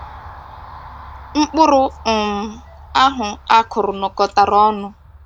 Mkpụrụ um ahụ a kụrụ nọkọtara ọnụ